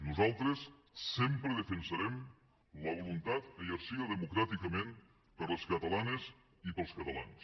nosaltres sempre defensarem la voluntat exercida democràticament per les catalanes i pels catalans